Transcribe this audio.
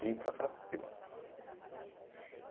Vim para Carapicuíba.